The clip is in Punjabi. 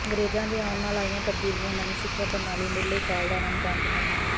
ਅੰਗਰੇਜਾਂ ਦੇ ਆਉਣ ਨਾਲ ਆਈਆਂ ਤਬਦੀਲੀਆਂ ਨਵੀਂ ਸਿੱਖਿਆ ਪ੍ਰਣਾਲੀ ਮੱੁਢਲੇ ਕਾਲ ਦਾ ਆਰੰਭ ਬੰਨਦੀਆਂ ਹਨ